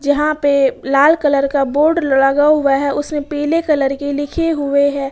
यहां पे लाल कलर का बोर्ड लगा हुआ है उसमें पीले कलर के लिखे हुए है।